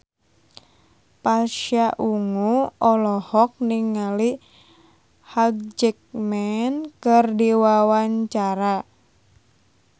Pasha Ungu olohok ningali Hugh Jackman keur diwawancara